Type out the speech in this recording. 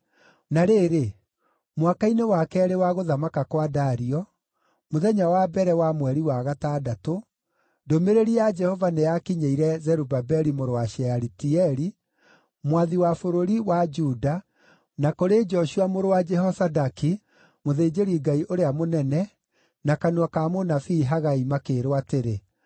Na rĩrĩ, mwaka-inĩ wa keerĩ wa gũthamaka kwa Dario, mũthenya wa mbere wa mweri wa gatandatũ, ndũmĩrĩri ya Jehova nĩyakinyĩire Zerubabeli mũrũ wa Shealitieli, mwathi wa bũrũri wa Juda, na kũrĩ Joshua mũrũ wa Jehozadaki, mũthĩnjĩri-Ngai ũrĩa mũnene, na kanua ka mũnabii Hagai makĩĩrwo atĩrĩ,